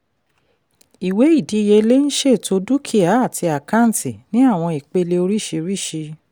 ìwé ìdíyelé ń ṣètò dúkìá àti àkáǹtì ní àwọn ìpele oríṣìíríṣìí.